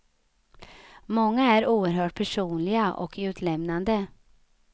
Många är oerhört personliga och utlämnande.